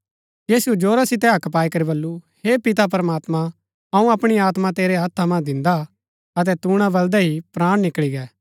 यीशुऐ जोरा सितै हक्क पाई करी बल्लू हे पिता प्रमात्मां अऊँ अपणी आत्मा तेरै हत्था मन्ज दिन्दा अतै तूणा बलदै ही प्राण निकळी गै